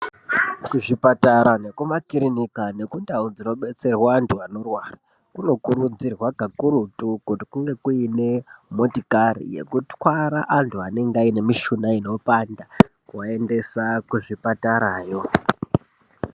Kuzvipatara nekumakiriniki ngekundau inobetserwa antu anorwara kunokuridzirwa kakurutu kuti kunge kuine motokari yekutwara antu anenge ane mishuna inopanda kuvaendesa kuzvipatarayo.